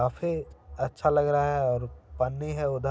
काफी अच्छा लग रहा है और पन्नी है उधर--